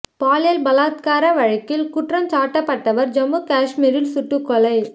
பாலியல் பலாத்கார வழக்கில் குற்றம் சாட்டப்பட்டவர் ஜம்மு காஷ்மீரில் சுட்டுக்கொலை